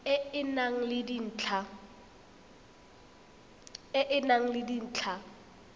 e e nang le dintlha